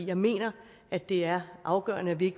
jeg mener at det er afgørende at vi